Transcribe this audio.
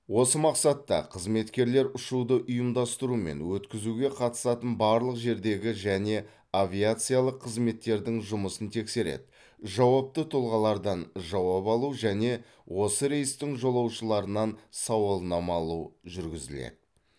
осы мақсатта қызметкерлер ұшуды ұйымдастыру мен өткізуге қатысатын барлық жердегі және авиациялық қызметтердің жұмысын тексереді жауапты тұлғалардан жауап алу және осы рейстің жолаушыларынан сауалнама алу жүргізіледі